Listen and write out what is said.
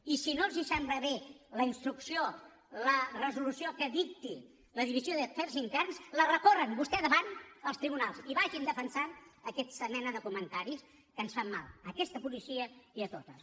i si no els sembla bé la instrucció la resolució que dicti la divisió d’afers interns la recorren vostès davant dels tribunals i vagin defensant aquesta mena de comentaris que ens fan mal a aquesta policia i a totes